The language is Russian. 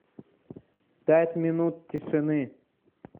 пять минут тишины